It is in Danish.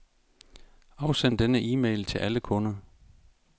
Afsend denne e-mail til alle kunder.